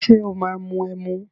Ṣé o máa mu ẹmu?